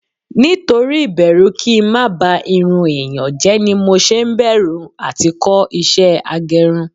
Nítorí ibẹru kí ń má ba irun èèyàn jẹ́ ni mo ṣe ń bẹ̀rù à ti kọ́ ìṣe agẹrun